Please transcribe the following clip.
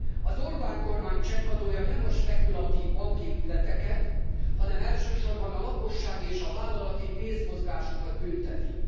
Az Orbán kormány csekkadója nem a spekulatív banki ügyleteket, hanem elsősorban a lakossági és a vállalati pénzmozgásokat bünteti.